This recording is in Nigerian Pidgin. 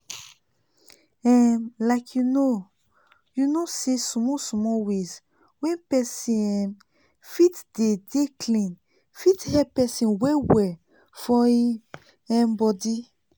um like you know you know say small small ways wey pesin um fit dey dey clean fit help pesin well well for him um body